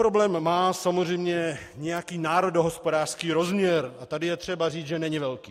Problém má samozřejmě nějaký národohospodářský rozměr, a tady je třeba říct, že není velký.